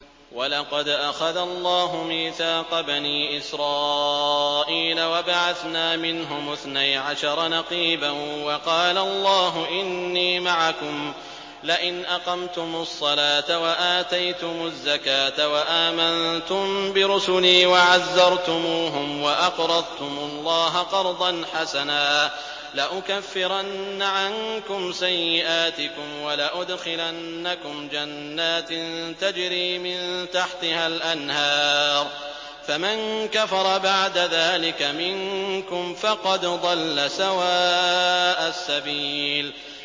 ۞ وَلَقَدْ أَخَذَ اللَّهُ مِيثَاقَ بَنِي إِسْرَائِيلَ وَبَعَثْنَا مِنْهُمُ اثْنَيْ عَشَرَ نَقِيبًا ۖ وَقَالَ اللَّهُ إِنِّي مَعَكُمْ ۖ لَئِنْ أَقَمْتُمُ الصَّلَاةَ وَآتَيْتُمُ الزَّكَاةَ وَآمَنتُم بِرُسُلِي وَعَزَّرْتُمُوهُمْ وَأَقْرَضْتُمُ اللَّهَ قَرْضًا حَسَنًا لَّأُكَفِّرَنَّ عَنكُمْ سَيِّئَاتِكُمْ وَلَأُدْخِلَنَّكُمْ جَنَّاتٍ تَجْرِي مِن تَحْتِهَا الْأَنْهَارُ ۚ فَمَن كَفَرَ بَعْدَ ذَٰلِكَ مِنكُمْ فَقَدْ ضَلَّ سَوَاءَ السَّبِيلِ